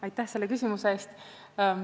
Aitäh selle küsimuse eest!